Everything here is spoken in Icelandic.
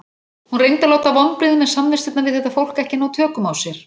Hún reyndi að láta vonbrigðin með samvistirnar við þetta fólk ekki ná tökum á sér.